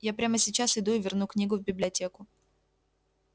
я прямо сейчас иду и верну книгу в библиотеку